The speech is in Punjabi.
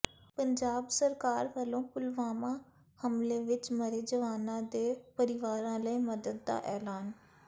ਪੰਜਾਬ ਸਰਕਾਰ ਵਲੋਂ ਪੁਲਵਾਮਾ ਹਮਲੇ ਵਿਚ ਮਰੇ ਜਵਾਨਾਂ ਦੇ ਪਰਿਵਾਰਾਂ ਲਈ ਮਦਦ ਦਾ ਐਲਾਨ